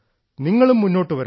നിങ്ങളും മുന്നോട്ടുവരണം